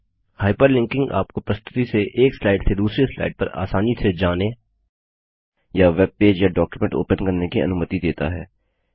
hyperlinking आपको प्रस्तुति से एक स्लाइड से दूसरी स्लाइड पर आसानी से जाने या वेबपेज या डॉक्युमेंट ओपन करने की अनुमति देता है